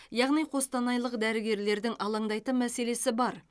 яғни қостанайлық дәрігерлердің алаңдайтын мәселесі бар